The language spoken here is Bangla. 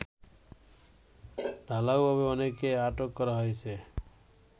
ঢালাওভাবে অনেককে আটক করা হয়েছে